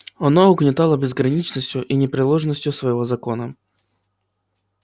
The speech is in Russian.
оно угнетало безграничностью и непреложностью своего закона